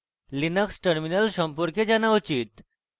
linux terminal সম্পর্কে জানা উচিত